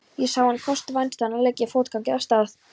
Ég sá þann kost vænstan að leggja fótgangandi af stað.